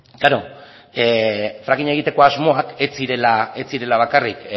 frackinga egiteko asmoak ez zirela bakarrik